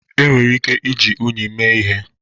Enwere ike iji unyi mee ihe